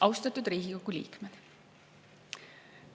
Austatud Riigikogu liikmed!